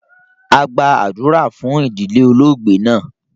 A gbàdúrà fun idilẹ̀ olóogbè naa